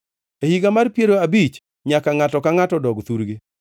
E higani mar piero abich nyaka ngʼato ka ngʼato odog thurgi.